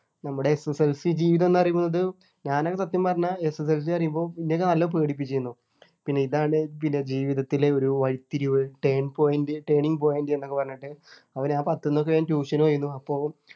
നമ്മുടെ SSLC ജീവിതം എന്നു പറയുന്നതു ഞാനൊക്കെ സത്യം പറഞ്ഞ SSLC പറയുമ്പോ എന്നെയൊക്കെ നല്ല പേടിപ്പിച്ചിരുന്നു പിന്നെ ഇതാണ് പിന്നെ ജീവിതത്തിലെ ഒരു വഴിത്തിരിവ് Turn point Turning point എന്നൊക്കെ പറഞ്ഞിട്ട് അപ്പൊ ഞാൻ പത്തിന്നു ഒക്കെ ഞാൻ tuition പോയിരുന്നു അപ്പോ